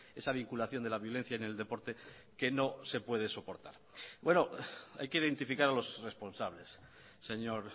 esa vinculación de la violencia en el deporte que no se puede soportar hay que identificar a los responsables señor